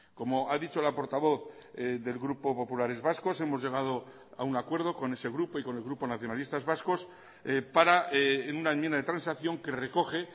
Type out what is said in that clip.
como ha dicho la portavoz del grupo populares vascos hemos llegado a un acuerdo con ese grupo y con el grupo nacionalistas vascos para en una enmienda de transacción que recoge